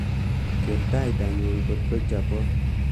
keer taitnyun kotko chobot